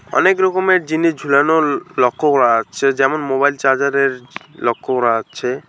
অনেক রকমের জিনিস ঝুলানো ল-লক্ষ্য করা যাচ্ছে যেমন- মোবাইল চার্জারের লক্ষ্য করা যাচ্ছে।